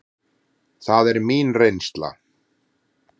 Það er mín reynsla.